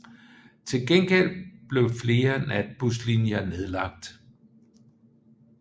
Til gengæld blev flere natbuslinjer nedlagt